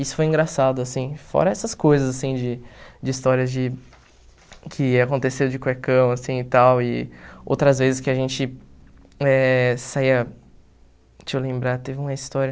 Isso foi engraçado, assim, fora essas coisas, assim, de de histórias de... que aconteceu de cuecão, assim, e tal, e outras vezes que a gente eh saía... deixa eu lembrar, teve uma história...